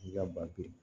I ka ba